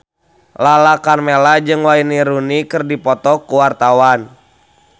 Lala Karmela jeung Wayne Rooney keur dipoto ku wartawan